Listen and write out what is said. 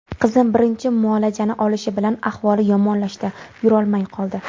Qizim birinchi muolajani olishi bilan ahvoli yomonlashdi, yurolmay qoldi.